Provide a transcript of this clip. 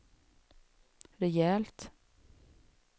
rejält